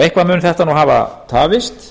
eitthvað mun þetta nú hafa tafist